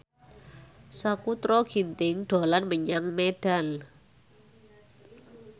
Sakutra Ginting dolan menyang Medan